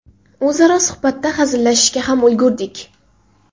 O‘zaro suhbatda hazillashishga ham ulgurdik.